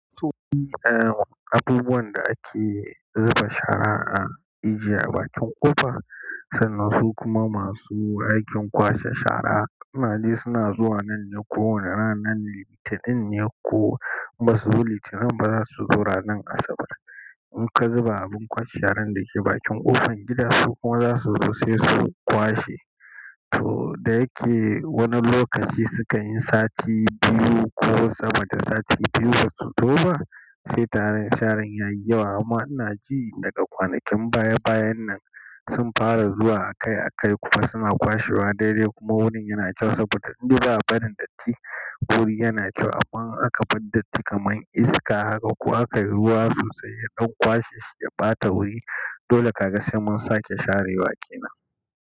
Eh, abubuwan da ake zuba shara a ijiye a bakin ƙofa, sannan su kuma masu aikin kwashe shara. Suna dai suna zuwa nan ne kowane ranan Litinin ne ko ba su zo Litinin ba, za su zo ranan Asabar. In ka zuba abun kwashe sharan da ke bakin ƙofar gida, su kuma za su zo sai su kwashe. To da yake wani lokaci sukan yi sati biyu ko sama da sati biyu ba su zo ba, sai tarar sharan ya yi yawa. Amma ina ji daga kwanakin baya bayan nan sun fara zuwa akai-akai kuma suna kwashewa dai-dai kuma wurin yana kyau saboda inda ba a barin datti. Wuri yana kyau amma in aka bar datti kamar iska haka kuwa aka yi ruwa sosai ya ɗan kwashe shi ya ɓata wuri. Dole ka ga sai mun sake sharewa kenan.